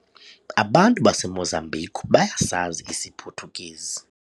Abantu baseMozambique bayasazi isiPhuthukezi.